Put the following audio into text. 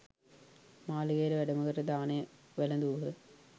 මාලිගයට වැඩම කර දානය වැළදූහ.